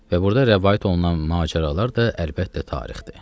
Və burda rəvayət olunan macəralar da əlbəttə tarixdir.